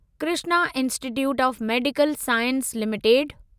Krishna institute of medical sciences limited